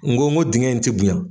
Ngo nko dingɛ in ti bonya.